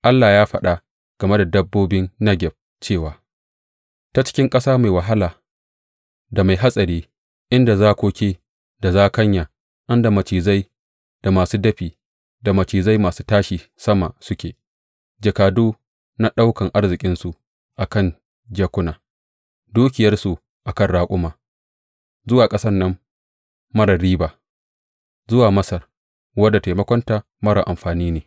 Allah ya faɗa game da dabbobin Negeb cewa, Ta cikin ƙasa mai wahala da mai hatsari inda zakoki da zakanya, inda macizai masu dafi da macizai masu tashi sama suke, jakadu na ɗaukan arzikinsu a kan jakuna, dukiyarsu a kan raƙuma, zuwa ƙasan nan marar riba, zuwa Masar, wadda taimakonta marar amfani ne.